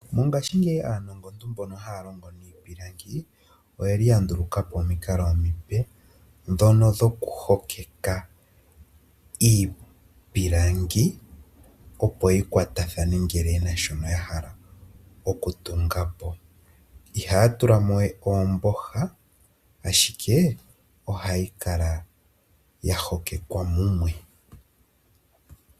Mongaashingeyi aanongontu mbono haa longo niipilangi oyeli ya nduluka po omikalo omipe ndhono dhoku hokeka iipilangi opo yi kwatathane ngele yena shono ya hala okutunga po, ihaa tula mo we oomboha ashike ohayi kala ya hokeka mumwe.